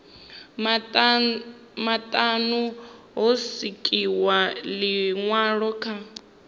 maṱanu ho swikiswa ḽiṅwalo kha